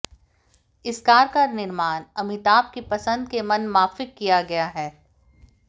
इस कार का निर्माण अमिताभ की पसंद के मनमाफिक किया गया है